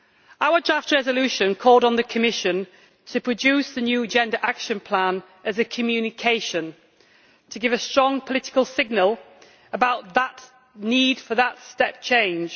Our draft resolution called on the Commission to produce a new gender action plan as a communication to give a strong political signal about that need for that step change